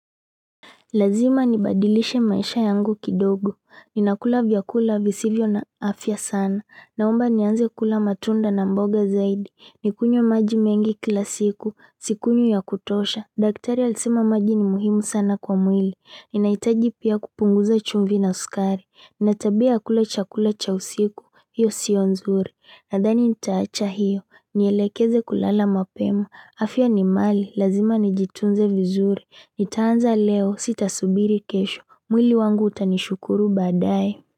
Lazima nibadilishe maisha yangu kidogo. Ninakula vyakula visivyo na afya sana. Naomba nianze kula matunda na mboga zaidi. Nikunywe maji mengi kila siku. Sikunywi ya kutosha. Daktari alisema maji ni muhimu sana kwa mwili. Ninahitaji pia kupunguza chumvi na sukari. Nina tabia ya kula chakula cha usiku. Hiyo sio nzuri. Nadhani nitaacha hiyo. Nielekeze kulala mapema. Afya ni mali. Lazima nijitunze vizuri. Nitaanza leo sita subiri kesho. Mwili wangu utanishukuru baadae.